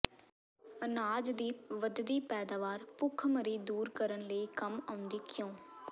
ਅਨਾਜ ਦੀ ਵਧਦੀ ਪੈਦਾਵਾਰ ਭੁੱਖਮਰੀ ਦੂਰ ਕਰਨ ਲਈ ਕੰਮ ਆਉਂਦੀ ਕਿਉਂ